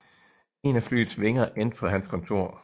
En af flyets vinger endte på hans kontor